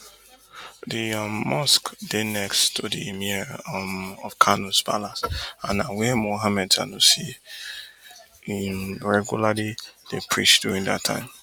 di um mosque dey next to di emir um of kanos palace and na wia mohammed sanusi ii regularly dey preach during dat time